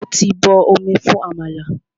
Mo ti bọ omi fún àmàlà.